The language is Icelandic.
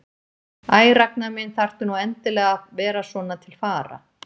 Æ, Ragnar minn, þarftu nú endilega að vera svona til fara?